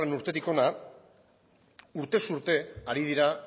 urtetik hona urtez urte ari dira